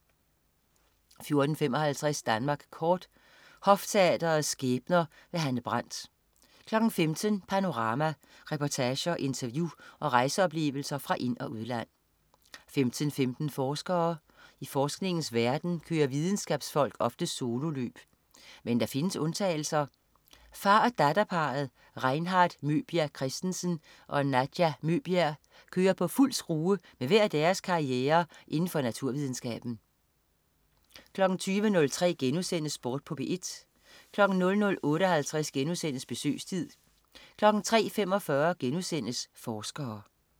14.55 Danmark kort. Hofteatrets skæbner. Hanne Brandt 15.00 Panorama. Reportager, interview og rejseoplevelser fra ind- og udland 15.15 Forskere. I forskningens verden kører videnskabsfolk ofte sololøb. Men der findes undtagelser. Far og datter-parret Reinhardt Møbjerg Christensen og Nadja Møbjerg kører på fuld skrue med hver deres karriere inden for naturvidenskaben 20.03 Sport på P1* 00.58 Besøgstid* 03.45 Forskere*